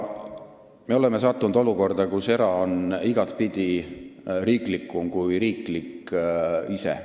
Me oleme sattunud olukorda, kus erasektor on igatepidi riiklikum kui riiklik sektor ise.